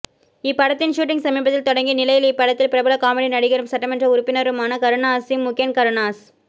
இப்படத்தின் ஷூட்டிங் சமீபத்தில் தொடங்கி நிலையில் இப்படத்தில் பிரபல காமெடி நடிகரும் சட்டமன்ற உறுப்பினருமான கருணாஸிஸின் மு கென் கருணாஸ்